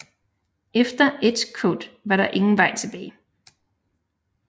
Efter Edgecote var der ingen vej tilbage